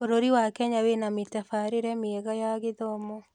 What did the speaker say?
Bũrũri wa Kenya wĩna mĩtabarĩre mĩega ya gĩthomo.